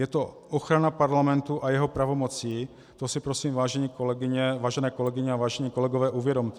Je to ochrana parlamentu a jeho pravomocí, to si prosím, vážené kolegyně a vážení kolegové, uvědomte.